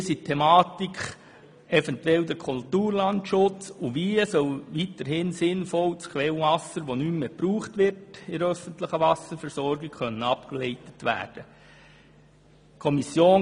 Hier geht es eventuell um den Kulturlandschutz und um die Frage, wie das Quellwasser, das in der öffentlichen Wasserversorgung nicht mehr gebraucht wird, sinnvoll abgeleitet werden kann.